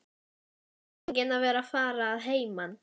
Og tilfinningin að vera að fara að heiman.